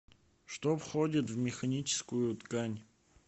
что входит в механическую ткань